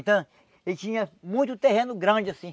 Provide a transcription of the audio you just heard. Então, ele tinha muito terreno grande assim.